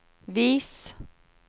vis